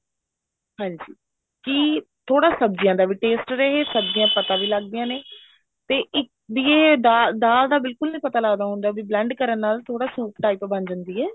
ਹਾਂਜੀ ਕੀ ਥੋੜਾ ਸਬਜੀਆਂ ਦਾ ਵੀ taste ਰਹੇ ਸਬਜੀਆਂ ਪਤਾ ਵੀ ਲੱਗਦੀਆਂ ਨੇ ਤੇ ਵੀ ਇਹ ਦਾਲ ਦਾਲ ਤਾਂ ਬਿਲਕੁਲ ਨੀ ਪਤਾ ਲੱਗਦਾ ਹੁੰਦਾ blend ਕਰਨ ਨਾਲ ਥੋੜਾ ਸੂਪ type ਬਣ ਜਾਂਦੀ ਹੈ